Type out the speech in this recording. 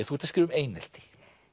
þú ert að skrifa um einelti